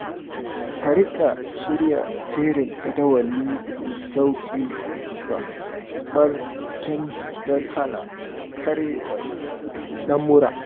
Ka riƙa shirya jerin jadawali mai sauƙin karɓar canji don hana karyewar lamura.